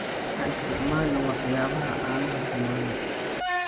Ha isticmaalin waxyaabaha caanaha xumaaday.